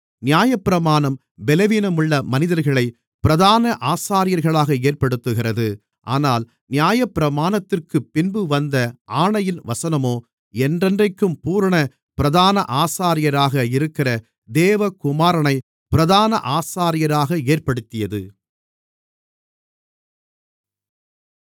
நியாயப்பிரமாணம் பெலவீனமுள்ள மனிதர்களைப் பிரதான ஆசாரியர்களாக ஏற்படுத்துகிறது ஆனால் நியாயப்பிரமாணத்திற்குப்பின்பு வந்த ஆணையின் வசனமோ என்றென்றைக்கும் பூரண பிரதான ஆசாரியராக இருக்கிற தேவகுமாரனை பிரதான ஆசாரியராக ஏற்படுத்தியது